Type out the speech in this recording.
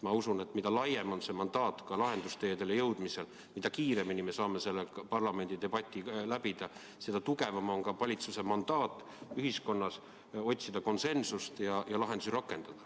Ma usun, et mida laiem on mandaat lahendusteedeni jõudmisel, mida kiiremini me saame selle parlamendidebati läbida, seda tugevam on ka valitsuse mandaat ühiskonnas konsensust otsida ja lahendusi rakendada.